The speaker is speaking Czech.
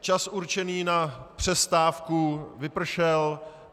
Čas určený na přestávku vypršel.